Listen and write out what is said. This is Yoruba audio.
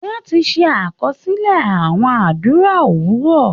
Wọ́n ti ṣe àkọsílẹ̀ àwọn àdúrà òwúrọ